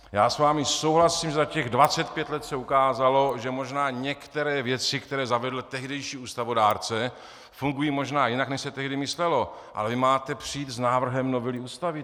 Já s vámi souhlasím, že za těch 25 let se ukázalo, že možná některé věci, které zavedl tehdejší ústavodárce, fungují možná jinak, než se tehdy myslelo, ale vy máte přijít s návrhem novely Ústavy.